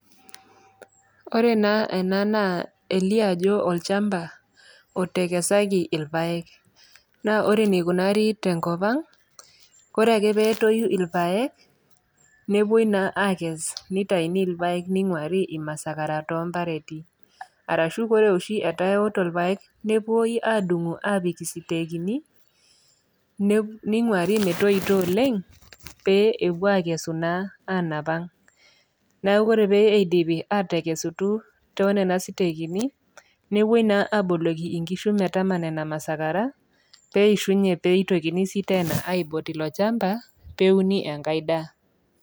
Ore naa ena naa elio ajo olchamba otekesaki ilpayek naa ore eneikunari tenkop ang kore ake petoyu irpayek nepuoi naa akes nitaini irpayek ning'uari imasakara tompareti arashu kore oshi etaa ewoto ilpayek nepuoi adumu apik isitekini ne ning'uari metoito oleng pee epuo akesu naa anap ang neku kore pee eidipi atekesutu tonena sitekini nepuoi naa aboloki inkishu metama nena masakara peishunye peitokini sii aipot ilo chamba peuni enkae daa.